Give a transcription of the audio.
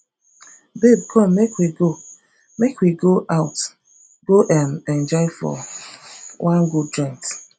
babe come make we go make we go out go um enjoy for wan good joint